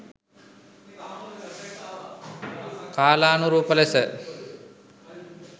කාලානුරූප ලෙස